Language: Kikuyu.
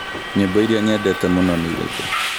Nyĩmbo iria nyendete mũno nĩ irĩkũ?